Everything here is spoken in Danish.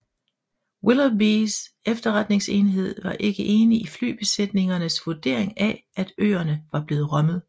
Willoughbys efterretningsenhed var ikke enig i flybesætningernes vurdering af at øerne var blevet rømmet